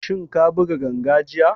Shin ka buga ganga jiya?